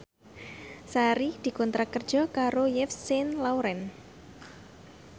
Sari dikontrak kerja karo Yves Saint Laurent